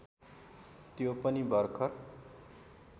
त्यो पनि भर्खर